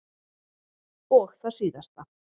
Og það síðasta.